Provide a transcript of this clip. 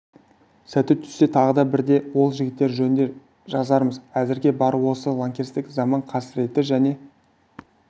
сәті түссе тағы бірде ол жігіттер жөнінде де жазармыз әзірге бары осы лаңкестік заман қасіреті және